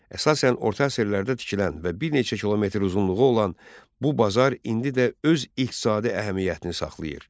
Əsasən orta əsrlərdə tikilən və bir neçə kilometr uzunluğu olan bu bazar indi də öz iqtisadi əhəmiyyətini saxlayır.